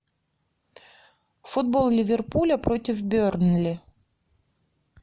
футбол ливерпуля против бернли